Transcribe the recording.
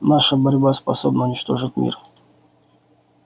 наша борьба способна уничтожить мир